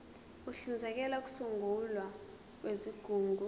uhlinzekela ukusungulwa kwezigungu